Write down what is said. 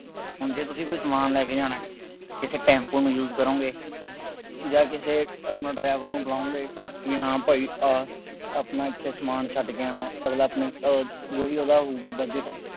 ਹੁਣ ਜੇ ਤੁਸੀਂ ਕੋਈ ਸਮਾਨ ਲੈ ਕੇ ਜਾਣਾ, ਕਿਸੇ ਟੈਂਪੂ ਨੂੰ use ਕਰੋਗੇ, ਜਾਂ ਕਿਸੇ ਆਪਣਾ driver ਨੂੰ ਬੁਲਾਉਗੇ, ਬਈ ਹਾਂ ਭਾਈ ਆ, ਆਪਣਾ ਇੱਥੇ ਸਮਾਨ ਛੱਡ ਕੇ ਆਉਣਾ, ਜੋ ਵੀ ਉਹਦਾ ਹੋਊਗਾ ਬਜ਼ਟ